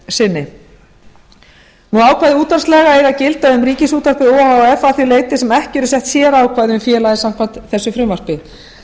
sinni ákvæði útvarpslaga eiga að gilda um ríkisútvarpið o h f að því leyti sem ekki eru sett sérákvæði um félagið samkvæmt þessu frumvarpi